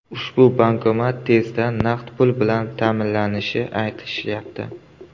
Ushbu bankomat tezda naqd pul bilan ta’minlanishini aytishyapti.